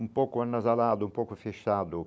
Um pouco anasalado, um pouco fechado.